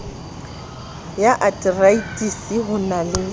ya ateraetisi ho na le